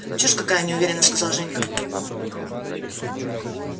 чушь какая неуверенно сказал женька